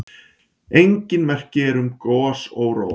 Engin merki eru um gosóróa.